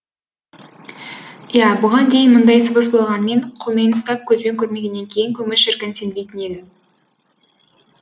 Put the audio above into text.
иә бұған дейін мұндай сыбыс болғанымен қолмен ұстап көзбен көрмегеннен кейін көңіл шіркін сенбейтін еді